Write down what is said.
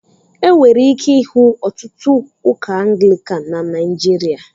Enwere ike ịhụ ọtụtụ Ụka Anglicán na nigeria